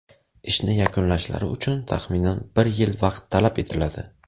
Ishni yakunlashlari uchun taxminan bir yil vaqt talab etiladi.